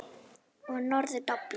Og norður doblar.